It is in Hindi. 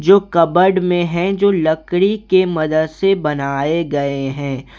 जो कपबोर्ड में है जो लकड़ी के मदद से बनाए गए हैं।